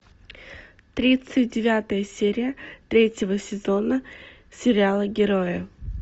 тридцать девятая серия третьего сезона сериала герои